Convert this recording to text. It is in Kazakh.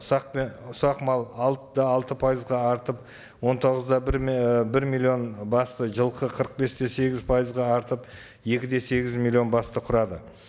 ұсақ ұсақ мал алты да алты пайызға артып он тоғыз да бір і бір миллион басты жылқы қырық бес те сегіз пайызға артып екі де сегіз миллион басты құрады